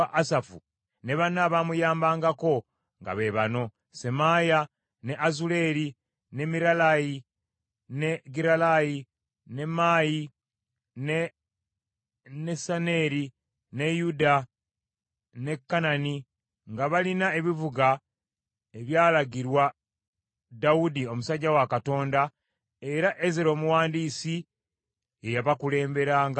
ne banne abaamuyambangako nga be bano: Semaaya, ne Azuleeri, ne Miralayi, ne Giralayi, ne Maayi, ne Nesaneeri, ne Yuda, ne Kanani, nga balina ebivuga ebyalagirwa Dawudi omusajja wa Katonda, era Ezera omuwandiisi, ye yabakulemberangamu.